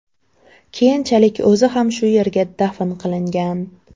Keyinchalik o‘zi ham shu yerga dafn qilingan.